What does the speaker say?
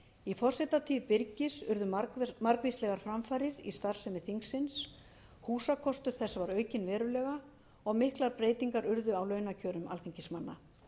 í forsetatíð birgis urðu margvíslegar framfarir í starfsemi þingsins húsakostur þess var aukinn verulega og miklar breytingar urðu á launakjörum alþingismanna